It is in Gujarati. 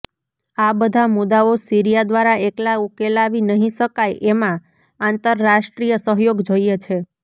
આ બધા મુદ્દાઓ સીરિયા દ્વારા એકલા ઉકેલાવી નહિ શકાય એમાં આંતરરાષ્ટ્રીય સહયોગ જોઈએ છે